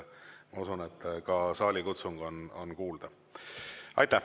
Ma usun, et ka saalikutsung on kuulda.